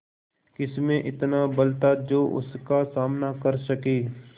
किसमें इतना बल था जो उसका सामना कर सके